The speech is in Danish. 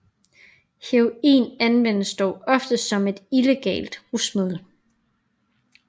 Heroin anvendes dog oftest som et illegalt rusmiddel